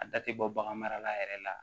A da tɛ bɔ bagan marala yɛrɛ la